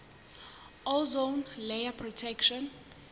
ozone layer protection